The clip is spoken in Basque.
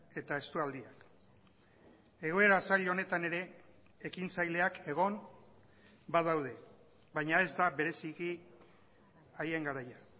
eta estualdiak egoera zail honetan ere ekintzaileak egon badaude baina ez da bereziki haien garaia